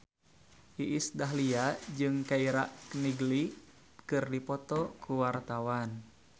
Iis Dahlia jeung Keira Knightley keur dipoto ku wartawan